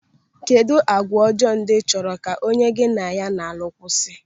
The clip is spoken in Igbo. Kedụ agwa ọjọọ ndị ịchọrọ ka onye gị na ya na-alụ kwụsị?